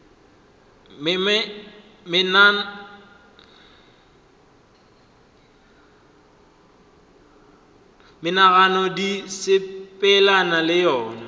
menagano di sepelelana le yona